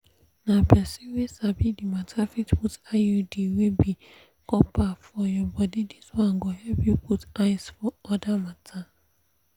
na people wey sabi the matter fit put iud wey be copper for your body. this one go help you put eyes for other matter.